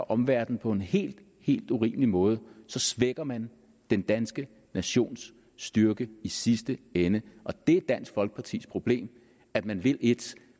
omverdenen på en helt helt urimelig måde så svækker man den danske nations styrke i sidste ende og det er dansk folkepartis problem at man vil et